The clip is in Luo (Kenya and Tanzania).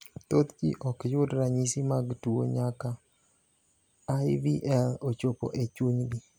Thoth ji ok yud ranyisi mag tuo nyaka IVL ochopo e chunygi.